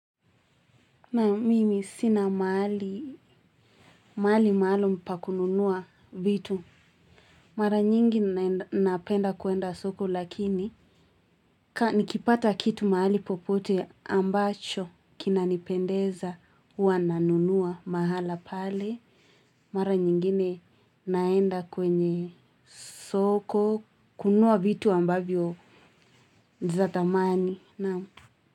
Na mimi sina mahali maalum pa kununua vitu. Mara nyingi napenda kuenda soko lakini. Ka nikipata kitu mahali popote ambacho kinanipendeza huwa na nunua mahala pale. Mara nyingine naenda kwenye soko kunua vitu ambavyo za thamani.